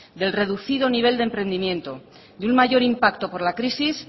del reducido nivel de emprendimiento de un mayor impacto por la crisis